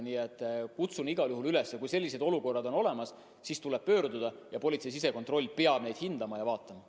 Nii et kutsun igal juhul üles, kui sellised juhtumid on olnud, kuhugi pöörduma ja politsei sisekontroll peab neid juhtumeid hindama.